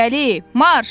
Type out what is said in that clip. İrəli, marş!